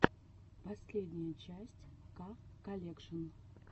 последняя часть ка колекшн